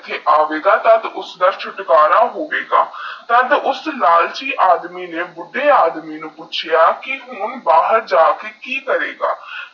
ਬੁਢੇ ਨੈ ਉਤਰ ਦਿੱਤਾ ਕਿ ਜਾਦੋ ਉੱਨਾ ਦੋਹਾ ਵਰਗਾ ਕੋਈ ਹੋਰ ਲਾਲਚੀ ਬੰਦਾ ਇੱਥੇ ਆਵੇਗਾ ਤਾੜ ਉਸ ਦਾ ਛੁਟਕਾਰਾ ਹੋਵੇਗਾ